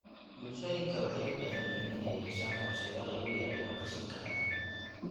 Bulshooyinka waxay u baahan yihiin inay yeeshaan qorshayaal lagu yareeyo qashinka adag.